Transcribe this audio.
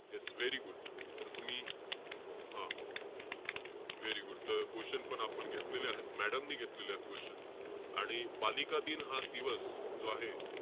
Yes very good. तर तुम्ही हा, very good. तर question पण आपण घेतलेले आहेत. Madam ने घेतलेले आहेत question. आणि बालिका दिन हा दिवस जो आहे,